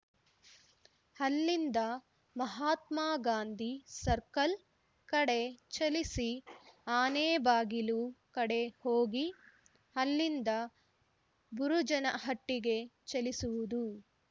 ಅಲ್ಲಿಂದ ಮಹಾತ್ಮಗಾಂಧಿ ಸರ್ಕಲ್‌ ಕಡೆ ಚಲಿಸಿ ಆನೆಬಾಗಿಲು ಕಡೆ ಹೋಗಿ ಅಲ್ಲಿಂದ ಬುರುಜನಹಟ್ಟಿಗೆ ಚಲಿಸುವುದು